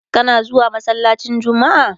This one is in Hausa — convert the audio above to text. kana zuwa masallacin jummma?